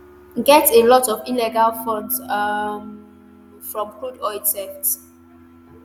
get a lot of illegal funds um um from crude oil theft